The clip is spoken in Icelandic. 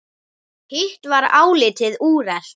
Hitt var álitið úrelt.